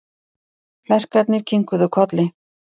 Klerkarnir kinkuðu kolli.